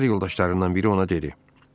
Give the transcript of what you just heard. Əsgər yoldaşlarından biri ona dedi: